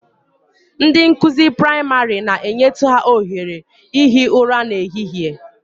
Ndị nkụzi praịmarị na-enyetụ ha ohere ihi ụra n'ehihie